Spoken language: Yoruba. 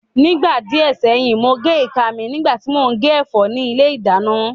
Nígbà díẹ̀ sẹ́yìn, mo gé ìka mi nígbà tí mò ń gé ẹ̀fọ́ ní ilé ìdáná